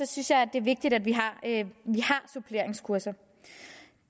synes jeg det er vigtigt at vi har suppleringskurser